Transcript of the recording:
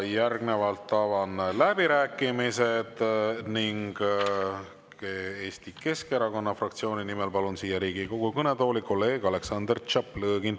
Järgnevalt avan läbirääkimised ning Eesti Keskerakonna fraktsiooni nimel palun siia Riigikogu kõnetooli kolleeg Aleksandr Tšaplõgini.